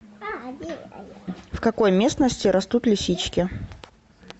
в какой местности растут лисички